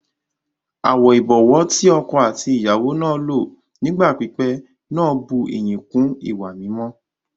Àwọn ìbọ̀wọ́ ti ọkọ àti ìyàwó náà lò ní ìgbà pípẹ́ náà bú ìyìn kún ìwà mímọ́